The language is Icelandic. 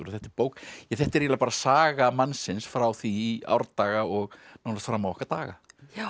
og þetta er bók þetta er eiginlega bara saga mannsins frá því í árdaga og nánast fram á okkar daga